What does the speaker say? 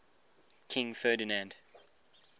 king ferdinand